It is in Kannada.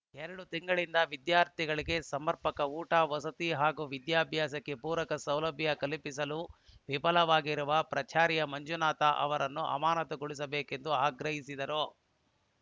ಎರಡು ತಿಂಗಳಿಂದ ವಿದ್ಯಾರ್ಥಿಗಳಿಗೆ ಸಮರ್ಪಕ ಊಟ ವಸತಿ ಹಾಗೂ ವಿದ್ಯಾಭ್ಯಾಸಕ್ಕೆ ಪೂರಕ ಸೌಲಭ್ಯ ಕಲ್ಪಿಸಲು ವಿಫಲರಾಗಿರುವ ಪ್ರಾಚಾರ್ಯ ಮಂಜುನಾಥ ಅವರನ್ನು ಅಮಾನತುಗೊಳಿಸಬೇಕೆಂದು ಆಗ್ರಹಿಸಿದರು